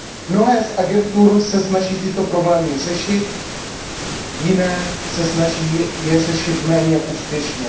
Mnohé z agentur se snaží tyto problémy řešit, jiné se snaží je řešit méně úspěšně.